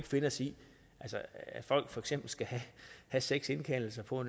finde os i at folk for eksempel skal have seks indkaldelser på